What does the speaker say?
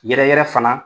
Yɛrɛ yɛrɛ fana